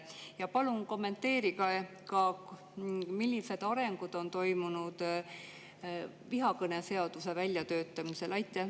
Ja palun kommenteerige ka, millised arengud on toimunud vihakõne seaduse väljatöötamisel?